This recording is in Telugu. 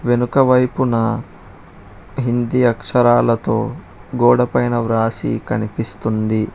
వెనుక వైపున హిందీ అక్షరాలతో గోడ పైన వ్రాసి కనిపిస్తుంది.